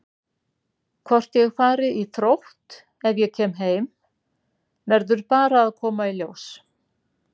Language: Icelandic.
Hvort ég fari í Þrótt ef ég kem heim verður bara að koma í ljós.